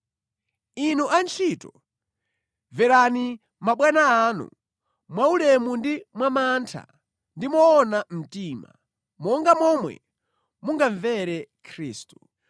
Inu antchito, mverani mabwana anu mwaulemu ndi mwamantha ndi moona mtima, monga momwe mungamvere Khristu.